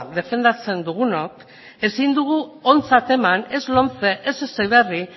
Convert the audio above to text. defendatzen dugunok ezin dugu ontzat eman ez lomce ez heziberri